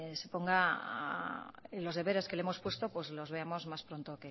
los deberes que le hemos puesto los veamos más pronto